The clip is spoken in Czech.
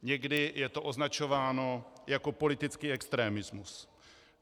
Někdy je to označováno jako politický extremismus.